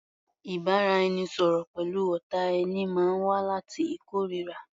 Ìbáraẹnisọ̀rọ̀ pẹ̀lú ọ̀tá ẹni máa wá láti ìkóríra.